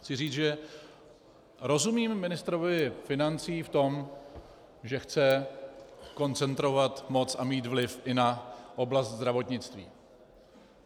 Chci říct, že rozumím ministrovi financí v tom, že chce koncentrovat moc a mít vliv i na oblast zdravotnictví.